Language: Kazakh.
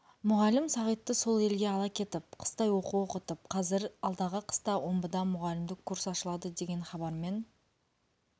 мұғалім сағитты сол елге ала кетіп қыстай оқу оқытып қазір алдағы қыста омбыда мұғалімдік курс ашылады деген хабармен